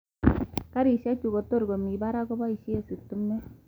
Karisiek chu kotorkomii parak koboisie stimet.